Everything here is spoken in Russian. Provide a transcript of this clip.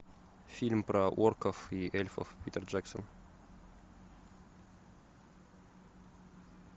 фильм про орков и эльфов питер джексон